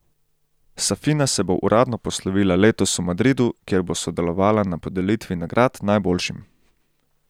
Safina se bo uradno poslovila letos v Madridu, kjer bo sodelovala na podelitvi nagrad najboljšim.